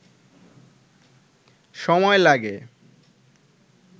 সময় লাগে